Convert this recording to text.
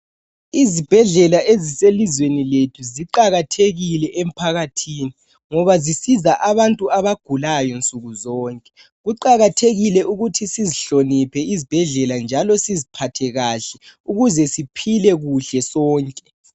Izibhedlela eziselizweni lethu ziqakathekile emphakathini ngoba zisiza abantu abagulayo nsuku zonke. Kuqakathekile ukuthi sizihloniphe izibhedlela njalo siziphathe kahle ukuze siphile kuhle sonke.